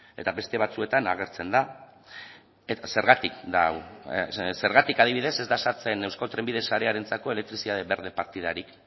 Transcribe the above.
eta beste batzuetan agertzen da zergatik da hau zergatik adibidez ez da sartzen euskotrenbide sarearentzako elektrizitate berde partidarik